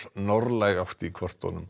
norðlæg átt í kortunum